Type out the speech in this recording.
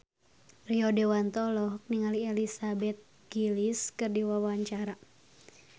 Rio Dewanto olohok ningali Elizabeth Gillies keur diwawancara